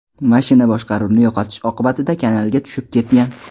Mashina boshqaruvni yo‘qotish oqibatida kanalga tushib ketgan.